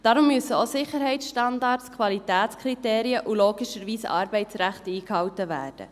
Darum müssen auch Sicherheitsstandards, Qualitätskriterien und logischerweise Arbeitsrecht eingehalten werden.